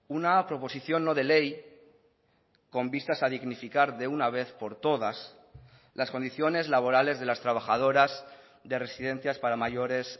una proposición no de ley con vistas a dignificar de una vez por todas las condiciones laborales de las trabajadoras de residencias para mayores